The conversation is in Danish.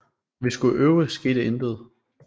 Når vi skulle øve skete intet